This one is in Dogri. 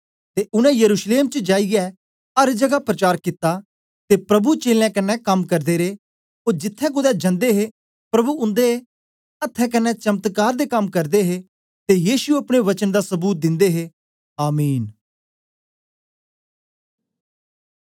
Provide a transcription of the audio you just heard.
ते उनै यरूशलेम चा जाईयै अर जगा प्रचार कित्ता ते प्रभु चेलें कन्ने कम करदे रे ओ जिथें कुदै जंदे हे प्रभु उन्दे अहथें कन्ने चमत्कार दे कम करदे हे ते यीशु अपने वचन दा सबूत दिंदे हे आमीन